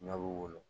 Ɲɔ b'u wolo